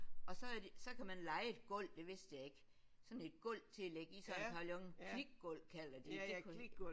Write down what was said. Og så havde de så kan man leje et gulv det vidste jeg ikke sådan et gulv til at ligge i sådan en pavillon. Klikgulv kalder de det